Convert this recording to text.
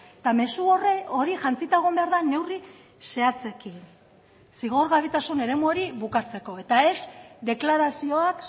eta mezu hori jantzita egon behar da neurri zehatzekin zigorgabetasun eremu hori bukatzeko eta ez deklarazioak